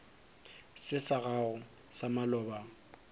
se sa gago sa maloba